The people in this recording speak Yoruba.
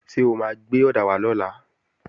Ṣé o máa gbé ọ̀dà wá lọ́la?